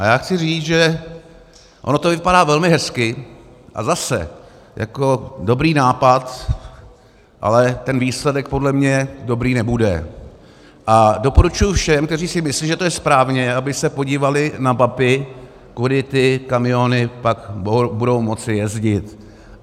A já chci říct, že ono to vypadá velmi hezky, a zase, jako dobrý nápad, ale ten výsledek podle mě dobrý nebude a doporučuji všem, kteří si myslí, že to je správně, aby se podívali na mapy, kudy ty kamiony pak budou moci jezdit.